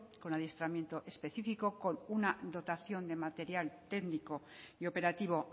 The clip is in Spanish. con adiestramiento específico con una dotación de material técnico y operativo